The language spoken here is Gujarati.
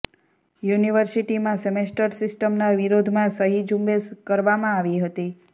યુનિવર્સિટીમાં સેમેસ્ટર સિસ્ટમના વિરોધમાં સહી ઝુંબેશ કરવામાં આવી હતી